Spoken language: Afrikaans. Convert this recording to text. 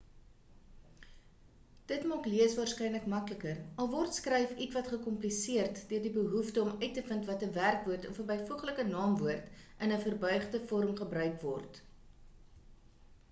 dit maak lees waarskynlik makliker al word skryf ietwat gekompliseerd deur die behoefte om uit te vind of 'n werkwoord of 'n byvoeglike naamwoord in 'n verbuigde vorm gebruik word